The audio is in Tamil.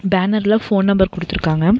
பேனர்ல ஃபோன் நம்பர் குடுத்து இருக்காங்க.